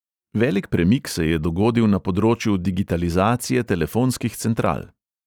Velik premik se je dogodil na področju digitalizacije telefonskih central.